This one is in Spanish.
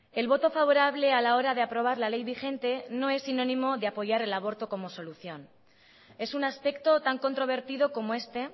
el voto favorable a la hora de aprobar la ley vigente no es sinónimo de apoyar el aborto como solución es un aspecto tan controvertido como este